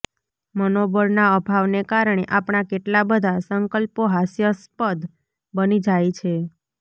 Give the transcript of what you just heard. મનોબળના અભાવને કારણે આપણા કેટલા બધા સંકલ્પો હાસ્યાસ્પદ બની જાય છે